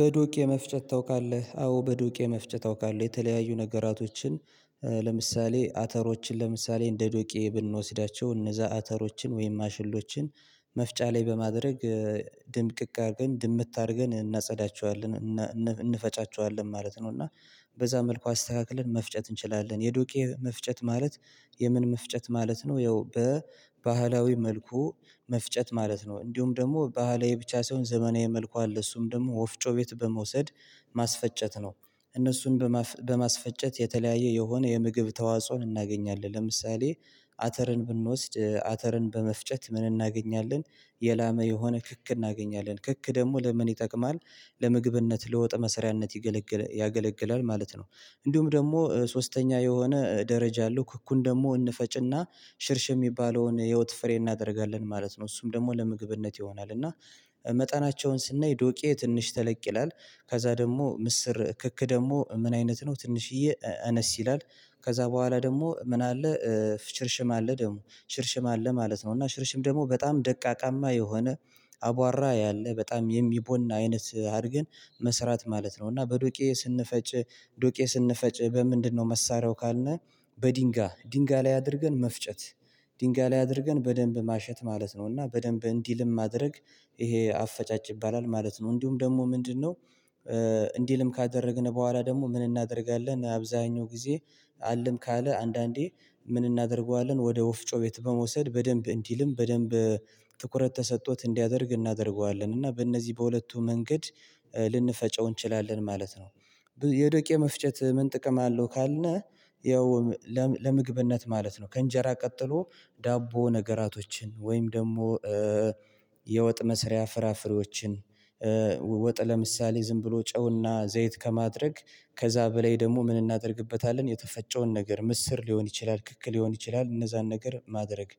በዶቄ መፍጨት ታውቃለህ አዎ በዶቄ መፍጨት አውቃለው የተለያዩ ነገራቶችን ለምሳሌ አተሮችን ለምሳሌ እንደ ዶቄ ብንወስዳቸው እነዛ አተሮችን ወይም ማሽሎችን መፍጫ ላይ በማድረግ ድምቅቅ አድርገን ድምት አድርገን እናጸዳቸዋለን እንፈጫቸዋለን ማለት ነው። እና በዛ መልኩ አስተካክለን መፍጨት እንችላለን የዱቄ መፍጨት ማለት የምን መፍጨት ማለት ነው። ያው በባህላዊ መልኩ መፍጨት ማለት ነው። እንዲሁም ደግሞ ባህላዊ ብቻ ሳይሆን ዘመናዊ መልኩ አለ እሱም ደግሞ ወፍጮ ቤት በመውሰድ ማስፈጨት ነው። እነሱን በማስፈጨት የተለያየ የሆነ የምግብ ተዋጽኦን እናገኛለን። ለምሳሌ አተርን ብንወስድ አተርን በመፍጨት ምን እናገኛለን? የላመ የሆነ ክክ እናገኛለን። ክክ ደግሞ ለምን ይጠቅማል? ለምግብነት ለወጥ መሰሪያነት ይገለግል ያገለግላል ማለት ነው። እንዲሁም ደግሞ ሶስተኛ የሆነ ደረጃ አለው ክኩን ደግሞ እንፈጭና ሽርሽ የሚባለውን የህይወት ፍሬ እናደርጋለን ማለት ነው። እሱም ደግሞ ለምግብነት ይሆናል። እና መጠናቸውን ስናይ ዶቄ ትንሽ ተለቅ ይላል። ከዛ ደግሞ ምስር ክክ ደግሞ ምን አይነት ነው? ትንሽዬ አነስ ይላል። ከዛ በኋላ ደግሞ ምን አለ? ሽርሽም አለ ደግሞ ሽርሽም አለ ማለት ነው። እና ሽርሽም ደግሞ በጣም ደቃቃማ የሆነ አቧራ ያለ በጣም የሚቦን አይነት አድርገን መስራት ማለት ነው። እና በዱቄ ስንፈጭ ዶቄ ስንፈጭ በምንድነው? መሳሪያው ካልነህ በድንጋ ድንጋ ላይ አድርገን መፍጨት ድንጋ ላይ አድርገን በደንብ ማሸት ማለት ነው። እና በደንብ እንዲልም ማድረግ ይሄ አፈጫጭ ይባላል ማለት ነው እንዲሁም ደግሞ ምንድነው? እንዲልም ካደረግን በኋላ ደግሞ ምን እናደርጋለን? አብዛኛው ጊዜ አልም ካለ አንዳንዴ ምን እናደርገዋለን ወደ ወፍጮ ቤት በመውሰድ በደንብ እንዲልም በደንብ ትኩረት ተሰጥቶት እንዲያደርግ እናደርገዋለን። እና በእነዚህ በሁለቱ መንገድ ልንፈጨው እንችላለን ማለት ነው። የዶቄ መፍጨት ምን ጥቅም አለው? ካልነ ያው ለምግብነት ማለት ነው። ከእንጀራ ቀጥሎ ዳቦ ነገራቶችን ወይም ደግሞ የወጥ መስሪያ ፍራፍሬዎችን ወጥ ለምሳሌ ዝም ብሎ ጨውና ዘይት ከማድረግ ከዛ በላይ ደግሞ ምን እናደርግበታለን የተፈጨውን ነገር ምስር ሊሆን ይችላል ክክ ሊሆን ይችላል እነዛን ነገር ማድረግ።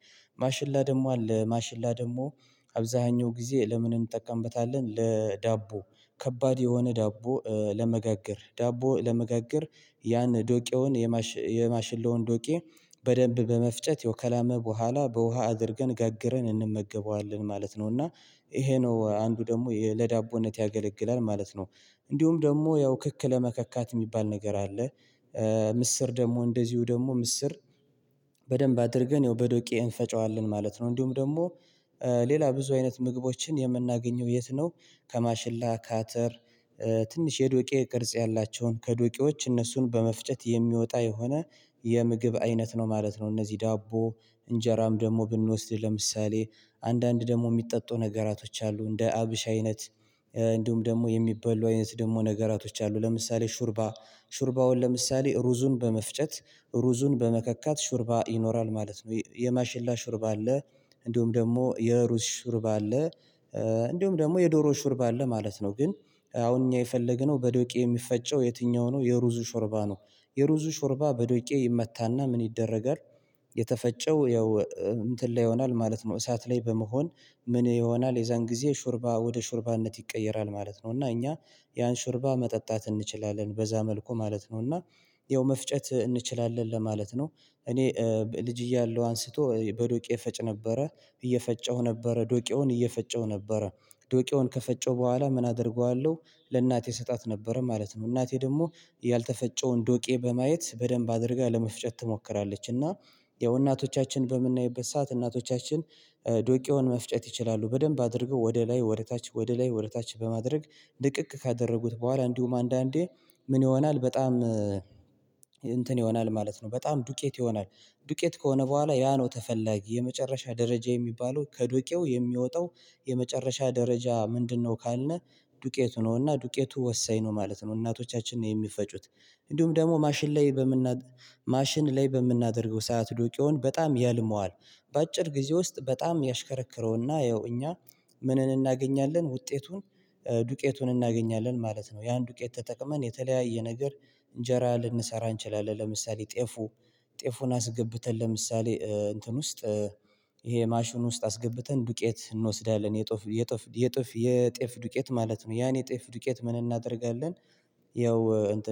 ማሽላ ደግሞ አለ ማሽላ ደግሞ አብዛኛው ጊዜ ለምን እንጠቀምበታለን? ለዳቦ ከባድ የሆነ ዳቦ ለመጋገር ዳቦ ለመጋገር ያን ዶቄውን የማሽለውን ዶቄ በደንብ በመፍጨት ያው ከላመ በኋላ በውሃ አድርገን ጋግረን እንመገበዋለን ማለት ነው። እና ይሄ ነው አንዱ ደግሞ ለዳቦነት ያገለግላል ማለት ነው። እንዲሁም ደግሞ ያው ክክ ለመከካት የሚባል ነገር አለ። ምስር ደግሞ እንደዚሁ ደግሞ ምስር በደንብ አድርገን ያው በዶቄ እንፈጨዋለን ማለት ነው። እንዲሁም ደግሞ ሌላ ብዙ አይነት ምግቦችን የምናገኘው የት ነው? ከማሽላ ካተር ትንሽ የዱቄ ቅርጽ ያላቸውን ከዶቄዎች እነሱን በመፍጨት የሚወጣ የሆነ የምግብ አይነት ነው ማለት ነው። እነዚህ ዳቦ እንጀራም ደግሞ ብንወስድ ለምሳሌ አንዳንድ ደግሞ የሚጠጡ ነገራቶች አሉ እንደ አብሽ አይነት። እንዲሁም ደግሞ የሚበሉ አይነት ደግሞ ነገራቶች አሉ ለምሳሌ ሹርባ። ሹርባውን ለምሳሌ ሩዙን በመፍጨት ሩዙን በመከካት ሹርባ ይኖራል ማለት ነው። የማሽላ ሹርባ አለ። እንዲሁም ደግሞ የሩዝ ሹርባ እንዲሁም ደግሞ የዶሮ ሹርባ አለ ማለት ነው። ግን አሁን እኛ የፈለገነው በዶቄ የሚፈጨው የትኛው ነው? የሩዙ ሾርባ ነው። የሩዙ ሾርባ በዶቄ ይመታና ምን ይደረጋል? የተፈጨው ያው እንትን ላይ ይሆናል ማለት ነው። እሳት ላይ በመሆን ምን ይሆናል የዛን ጊዜ ሹርባ ወደ ሹርባነት ይቀየራል ማለት ነው። እና እኛ ያን ሽርባ መጠጣት እንችላለን በዛ መልኩ ማለት ነው። እና ይኸው መፍጨት እንችላለን ለማለት ነው። እኔ ልጅ እያለሁ አንስቶ በዶቄ ፈጭ ነበረ እየፈጨሁ ነበረ ዶቄውን እየፈጨው ነበረ ዶቄውን ከፈጨው በኋላ ምን አደርገዋለሁ ለእናቴ ስጣት ነበረ ማለት ነው። እናቴ ደግሞ ያልተፈጨውን ዶቄ በማየት በደንብ አድርጋ ለመፍጨት ትሞክራለች። እና ያው እናቶቻችን በምናይበት ሰዓት እናቶቻችን ዶቄውን መፍጨት ይችላሉ። በደንብ አድርገው ወደ ላይ ወደ ታች ወደ ላይ ወደ ታች በማድረግ ድቅቅ ካደረጉት በኋላ እንዲሁም አንዳንዴ ምን ይሆናል በጣም እንትን ይሆናል ማለት ነው በጣም ዱቄት ይሆናል። ዱቄት ከሆነ በኋላ ያ ነው ተፈላጊ የመጨረሻ ደረጃ የሚባለው ከዱቄው የሚወጣው የመጨረሻ ደረጃ ምንድነው? ካልነህ ዱቄቱ ነውና ዱቄቱ ወሳኝ ነው ማለት ነው። እናቶቻችንን የሚፈጩት። እንዲሁም ደግሞ ማሽን ላይ በምና ማሽን ላይ በምናደርገው ሰዓት ዱቄውን በጣም ያልመዋል። በአጭር ጊዜ ውስጥ በጣም ያሽከረክረውና ያው እኛ ምንን እናገኛለን ውጤቱን። ዱቄቱን እናገኛለን ማለት ነው። ያን ዱቄት ተጠቅመን የተለያየ ነገር እንጀራ ልንሰራ አንችልም። ለምሳሌ ጤፉ ጤፉን አስገብተን ለምሳሌ እንትን ውስጥ ይሄ ማሽን ውስጥ አስገብተን ዱቄት እንወስዳለን የጥፍ የጥፍ የጥፍ የጤፍ ዱቄት ማለት ነው። ያን የጤፍ ዱቄት ምን እናደርጋለን? ያው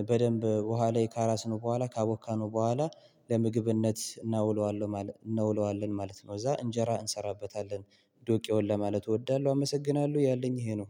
በደንብ ውሃ ላይ ካራስነው በኋላ ካቦካነው በኋላ ለምግብነት እናውለዋለን። ማለት ነው እዛ ነው እዛ እንጀራ እንሰራበታለን። ዶቄውን ለማለት እወዳለሁ አመሰግናለሁ ያለኝ ይሄ ነው።